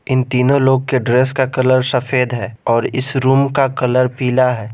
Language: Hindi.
इन तीनों लोग के ड्रेस का कलर सफेद है और इस रूम का कलर पीला है।